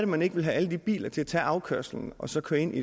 man ikke vil have alle de biler til at tage afkørslen og så køre ind